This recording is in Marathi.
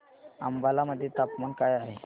अंबाला मध्ये तापमान काय आहे